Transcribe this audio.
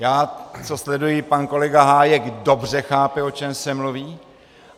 Já co sleduji, pan kolega Hájek dobře chápe, o čem se mluví.